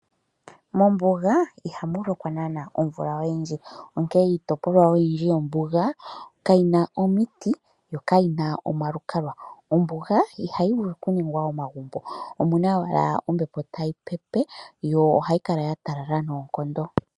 Mombuga ihamu lokwa naana omvula oyindji onkee iitopolwa oyindji yombuga kayina omiti yo kayina omalukalwa . Ombuga ihayi vulu okuningwa omagumbo omuna owala ombepo tayi pepe yo ohayi kala ya talala noonkondo.